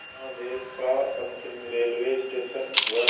यहाँ देश का अंतिम रेलवे स्टेशन व